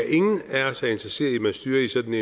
ingen af os er interesseret i at man styrer i sådan